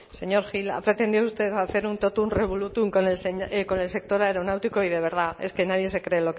señor gil ha pretendido usted hacer un totum revolutum con el sector aeronáutico y de verdad es que nadie se cree